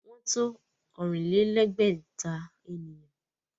Wọ́n to ọ̀rìn-lé-lẹ̀ẹ́dẹ́gbẹ̀ta ènìyàn